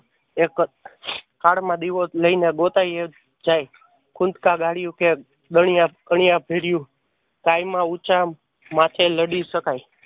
દીવો લાય ને ગોતાય જ જાય. ભર્યું. કાઈ માં ઉંચા માથે લડી શકાય.